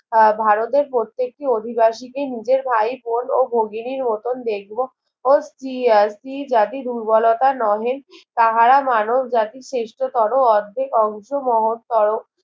আহ ভারতের প্রত্যেকটি অধিবাসীটি নিজের ভাইবোন ও ভগ্নির মতোন দেখবো ও স্ত্রী স্ত্রীজাতির দুর্বলতা নহে তাহারা মানব জাতির শ্রেষ্ঠ তর অর্ধেক অংশ মহৎ তর